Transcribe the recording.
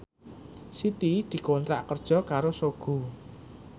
Siti dikontrak kerja karo Sogo